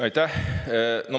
Aitäh!